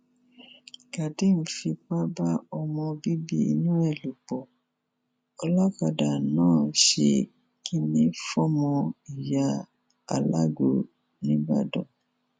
kadeem fipá bá ọmọ bíbí inú ẹ lò pọ olókàdá náà ṣe kìnnìfọmọ ìyá alágbò nìbàdàn